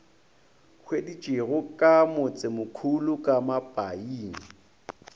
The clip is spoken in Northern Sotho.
hweditšwego ka motsemokhulu ka mapaing